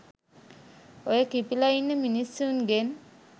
ඔය කිපිලා ඉන්න මිනිස්සුන්ගෙන්